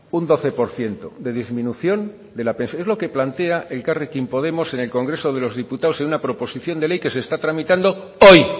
un doce por ciento de disminución es lo que plantea elkarrekin podemos en el congreso de los diputados en una proposición de ley que se está tramitando hoy